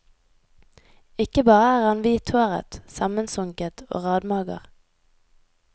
Ikke bare er han hvithåret, sammensunket og radmager.